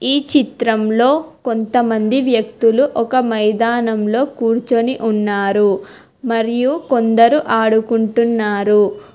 ఈ చిత్రంలో కొంతమంది వ్యక్తులు ఒక మైదానంలో కూర్చుని ఉన్నారు మరియు కొందరు ఆడుకుంటున్నారు.